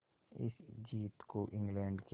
इस जीत को इंग्लैंड के